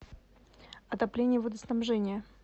отопление водоснабжение